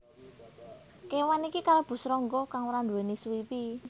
Kéwan iki kalebu srangga kang ora nduwèni suwiwi